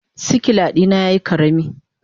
sikila dina yayi karami.